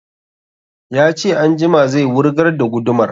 Ya ce anjima zai wurgar da gudumar